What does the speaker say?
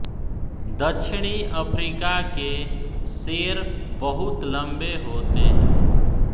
दक्षिणी अफ़्रीका के शेर बहुत लम्बे होते हैं